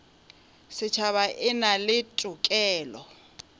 setšhaba e na le tokelo